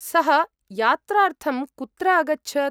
सः यात्रार्थं कुत्र अगच्छत्?